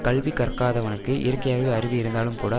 கல்வி கற்காதவனுக்கு இயற்கையாகவே அறிவு இருந்தாலும்கூட